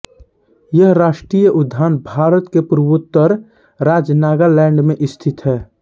यह राष्ट्रीय उद्यान भारत के पूर्वोत्तर राज्य नागालैंड में स्थित है